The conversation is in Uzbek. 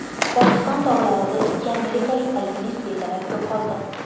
Pokiston tog‘larida ikki amerikalik alpinist bedarak yo‘qoldi.